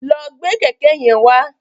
Lọ gbé kẹ̀kẹ́ yẹn wá.